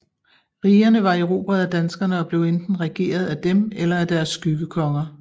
Rigerne var erobret af danskerne og blev enten regeret af dem eller af deres skyggekonger